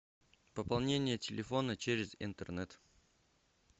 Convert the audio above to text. пополнение телефона через интернет